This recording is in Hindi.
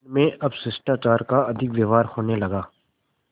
उनमें अब शिष्टाचार का अधिक व्यवहार होने लगा